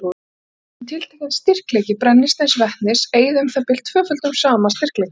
Svo virðist sem tiltekinn styrkleiki brennisteinsvetnis eyði um það bil tvöföldum sama styrkleika af súrefni.